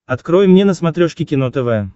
открой мне на смотрешке кино тв